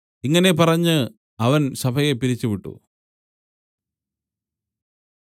ഇങ്ങനെ പറഞ്ഞ് അവൻ സഭയെ പിരിച്ചുവിട്ടു